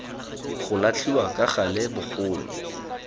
go latlhiwa ka gale bogolo